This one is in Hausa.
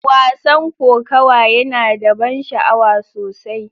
Wasan kokawa yana da ban sha'awa sosai.